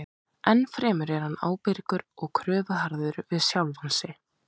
Ennfremur er hann ábyrgur og kröfuharður við sjálfan sig.